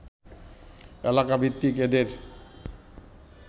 এলাকাভিত্তিক এদের